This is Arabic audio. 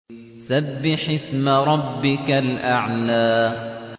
سَبِّحِ اسْمَ رَبِّكَ الْأَعْلَى